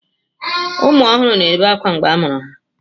Ụmụ ọhụrụ na-ebe ákwá mgbe a mụrụ ha.